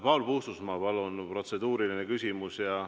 Paul Puustusmaa, palun, protseduuriline küsimus!